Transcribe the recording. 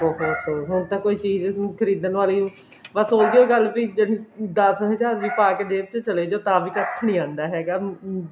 ਬਹੁਤ ਹੋਰ ਤਾਂ ਕੋਈ ਚੀਜ਼ ਨੂੰ ਖਰੀਦਣ ਬਾਰੇ ਬੱਸ ਉਹੀਉ ਗੱਲ ਵੀ ਦੱਸ ਹਜਾਰ ਵੀ ਪਾਕੇ ਜੇਬ ਚ ਚਲੇ ਜਾਉ ਤਾਂ ਵੀ ਕੱਖ ਨੀ ਆਂਦਾ ਹੈਗਾ ਅਮ